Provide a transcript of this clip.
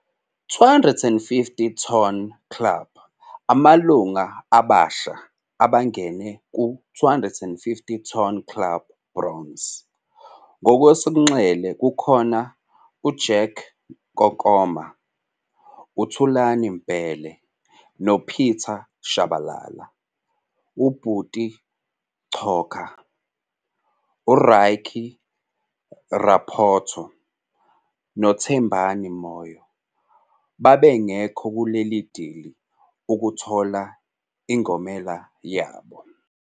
250 ton Club- Amalunga abasha abangene ku250 Ton Club, bronze, ngokwesonxele kukhona - uJack Kokoma, uThulane Mbhele noPieter Chabalala. UButi Coka, uRykie Raphoto noThembani Moyo bebangeko kuleli dili ukuthola ingomela yabo.